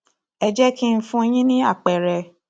ẹ jẹ kí n fún yín ní àpẹẹrẹ